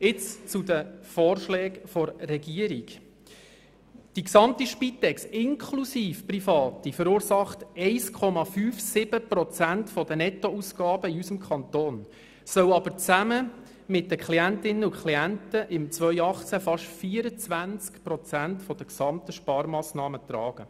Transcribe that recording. Jetzt zu den Vorschlägen der Regierung: Die gesamte Spitex inklusive Private verursacht 1,57 Prozent der Nettoausgaben in unserem Kanton, sie soll aber zusammen mit den Klientinnen und Klienten im Jahr 2018 fast 24 Prozent der gesamten Sparmassnahmen tragen.